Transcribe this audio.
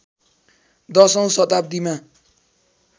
१० औँ शताब्दीमा